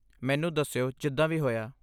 ਮੈਨੂੰ ਦੱਸਿਓ ਜਿਦਾਂ ਵੀ ਹੋਇਆ।